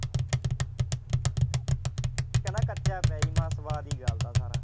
ਕਹਿੰਦਾ ਕੱਚਾ ਪਿਆ ਜੀ ਮੈਂ ਸਵਾਦਾ ਹੀ ਗਾਲਤਾ ਸਾਰਾ।